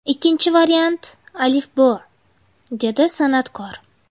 Ikkinchi variant ‘Alifbo‘”, – dedi san’atkor.